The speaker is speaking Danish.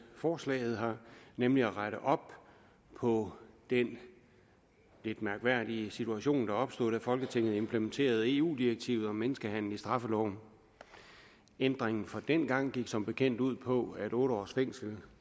forslaget nemlig at rette op på den lidt mærkværdige situation der opstod da folketinget implementerede eu direktivet om menneskehandel i straffeloven ændringen fra dengang gik som bekendt ud på at otte års fængsel